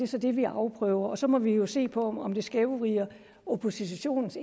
så det vi afprøver og så må vi jo se på om om det skævvrider oppositionens